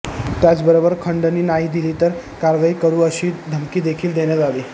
त्याचबरोबर खंडणी नाही दिली तर कारवाई करु अशी धमकी देखील देण्यात आली